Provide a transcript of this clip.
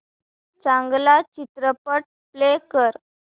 चांगला चित्रपट प्ले कर